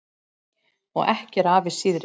Og ekki er afi síðri.